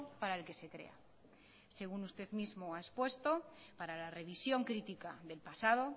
para el que se crea según usted mismo ha expuesto para la revisión crítica del pasado